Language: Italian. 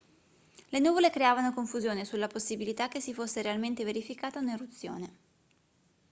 le nuvole creavano confusione sulla possibilità che si fosse realmente verificata un'eruzione